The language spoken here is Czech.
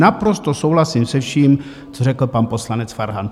Naprosto souhlasím se vším, co řekl pan poslanec Farhan.